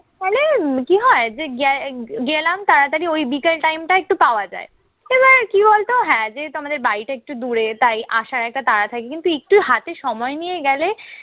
তাইলে কি হয় যে গে গেলাম তাড়াতাড়ি ওই বিকাল time টা একটু পাওয়া যায়। এবার কি বলতো হ্যাঁ যেহেতু আমাদের বাড়িটা একটু দূরে তাই আসার একটা তাড়া থাকে। কিন্তু একটু হাতে সময় নিয়ে গেলে